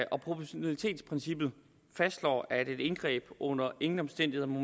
proportionalitetsprincippet fastslår at et indgreb under ingen omstændigheder må